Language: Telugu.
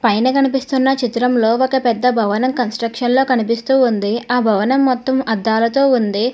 పైన కనిపిస్తున్న చిత్రంలో ఒక పెద్ద భవనం కన్స్ట్రక్షన్ లా కనిపిస్తూ ఉంది ఆ భవనం మొత్తం అద్దాలతో ఉంది.